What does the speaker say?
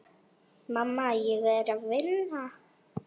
Mamma, ég er að vinna.